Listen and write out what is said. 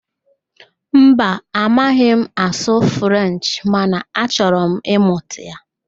Mba, amaghị m asụ Frenchị mana achọrọ m ịmụta